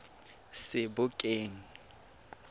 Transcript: sebokeng